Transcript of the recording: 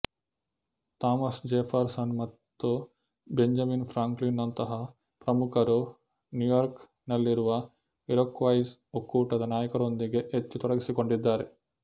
Thomas Jefferson ಮತ್ತು Benjamin Franklin ನಂತಹ ಪ್ರಮುಖರು ನ್ಯೂಯಾರ್ಕ್ ನಲ್ಲಿರುವ ಇರೊಕ್ವಾಯ್ಸ್ ಒಕ್ಕೂಟದ ನಾಯಕರೊಂದಿಗೆ ಹೆಚ್ಚು ತೊಡಗಿಸಿಕೊಂಡಿದ್ದಾರೆ